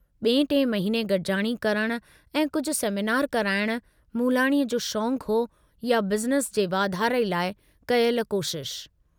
बिएं टिएं महिने गडिजाणी करण ऐं कुझु सेमीनार कराइण मूलाणीअ जो शौंकु हो या बिज़नेस जे वाधारे लाइ कयल कोशशि।